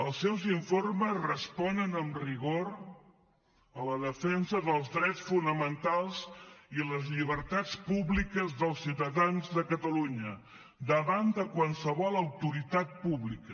els seus informes responen amb rigor a la defensa dels drets fonamentals i les llibertats públiques dels ciutadans de catalunya davant de qualsevol autoritat pública